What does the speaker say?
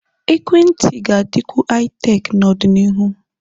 Ekwentị ga-adịkwu Haị-Tek n'ọdịnihu.